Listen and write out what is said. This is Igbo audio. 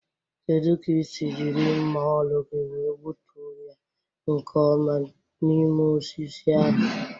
Kedu ka ísì jiri mma ọrụ gị wee gbutuo ya nke ọma n'ime osisi ahụ?